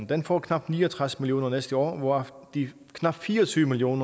den får knap ni og tres million kroner næste år hvoraf knap fire og tyve million